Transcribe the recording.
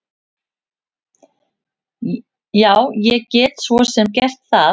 Já, ég get svo sem gert það.